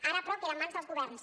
ara però queda en mans dels governs